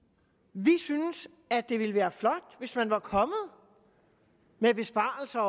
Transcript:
vi synes at det ville være flot hvis man også var kommet med besparelser